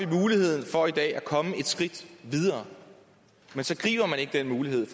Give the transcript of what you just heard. muligheden for at komme et skridt videre den mulighed